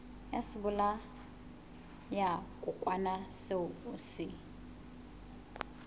ya sebolayakokwanyana seo o se